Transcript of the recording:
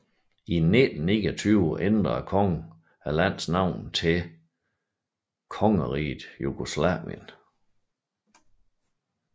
I 1929 ændrede kongen landets navn til Kongeriget Jugoslavien